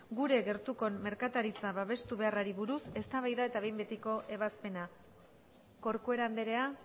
gure gertuko merkataritza babestu beharrari buruz eztabaida eta behin betiko ebazpena corcuera andrea